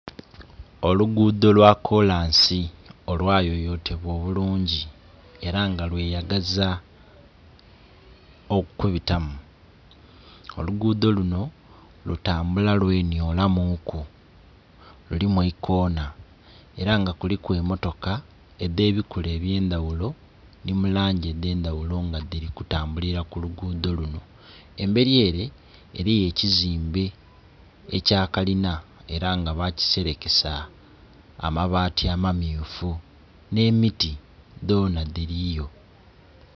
Olugudho lwa kolansi olwa yoyotebwa obulungi era nga lweyagaza okubita mu, olugudho luno lutambula lwenhyolamuuku, lulimu eikona, ela nga kuliku emmotoka edhe bikula eby'endhaghulo nhi mu langi edh'endhaghulo nga dhili kutambulila ku olugudho luno. Embeli ele eliyo ekizimbe ekya kalina era nga bakiselekesa amabaati amamyufu nh'emiti dhona dhiliyo.